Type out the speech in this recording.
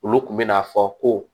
Olu kun bɛn'a fɔ ko